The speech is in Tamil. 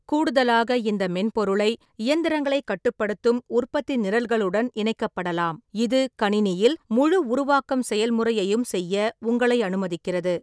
கூடுதலாக, இந்த மென்பொருளை இயந்திரங்களைக் கட்டுப்படுத்தும் உற்பத்தி நிரல்களுடன் இணைக்கப்படலாம், இது கணினியில் முழு உருவாக்கம் செயல்முறையையும் செய்ய உங்களை அனுமதிக்கிறது.